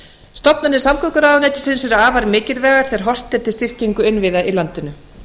stofnanir samgönguráðuneytisins eru afar mikilvægar þegar horft er til styrkingar innviða í landinu